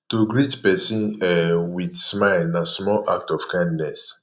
to greet persin um with smile na small act of kindness